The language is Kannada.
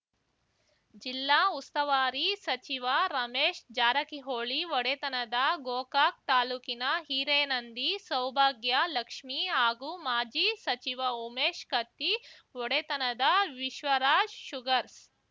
ಜಿಲ್ಲಾ ಉಸ್ತವಾರಿ ಸಚಿವ ರಮೇಶ್‌ ಜಾರಕಿಹೊಳಿ ಒಡೆತನದ ಗೋಕಾಕ್ ತಾಲೂಕಿನ ಹಿರೇನಂದಿ ಸೌಭಾಗ್ಯ ಲಕ್ಷ್ಮಿ ಹಾಗೂ ಮಾಜಿ ಸಚಿವ ಉಮೇಶ್ ಕತ್ತಿ ಒಡೆತನದ ವಿಶ್ವರಾಜ್‌ ಶುಗರ್ಸ